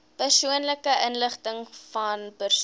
persoonlike inligtingvan persone